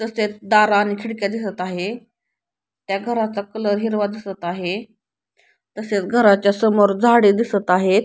तसेच दार आणि खिडक्या दिसत आहे त्या घराचा कलर हिरवा दिसत आहे तसेच घराच्या समोर झाडे दिसत आहेत.